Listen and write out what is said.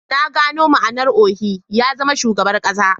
Na gano ma'anar Ohi ya zama Shugaban kasa